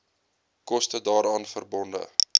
koste daaraan verbonde